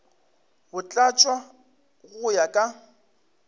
go tlatšwa go ya ka